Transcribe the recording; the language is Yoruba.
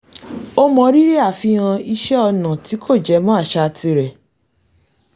ó mọrírì àfihàn iṣẹ́ ọnà tí kò jẹ mọ́ àṣà tirẹ̀